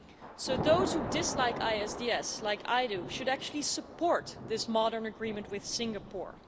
So those who dislike ISDS like I do should actually support this modern agreement with Singapore.